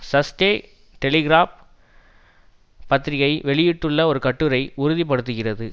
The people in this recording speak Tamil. சஸ்டே டெலிகிராப் பத்திரிகை வெளியிட்டுள்ள ஒரு கட்டுரை உறுதி படுத்துகிறது